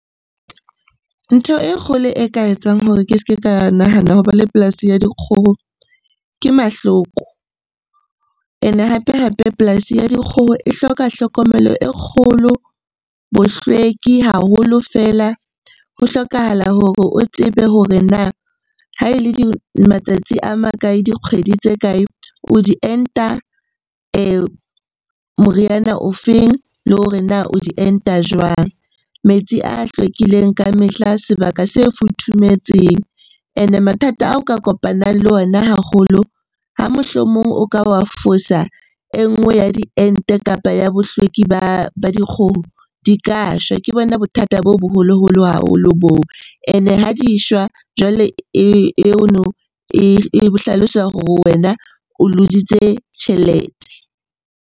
Ntho e kgolo e ka etsang hore ke se ke ka nahana ho ba le polasi ya dikgoho ke mahloko. Ene hape-hape polasi ya dikgoho e hloka hlokomelo e kgolo, bohlweki haholo feela. Ho hlokahala hore o tsebe hore na ha e le matsatsi a makae? Dikgwedi tse kae? O di enta moriana o feng? Le hore na o di enta jwang? Metsi a hlwekileng ka mehla, sebaka se futhumetseng. Ene mathata ao ka kopanang le ona haholo, ha mohlomong o ka wa fosa e nngwe ya diente kapa ya bohlweki ba dikgoho di ka shwa. Ke bona bothata bo boholoholo haholo boo, ene ha di shwa jwale eno e hlalosa hore wena o loose-itse tjhelete.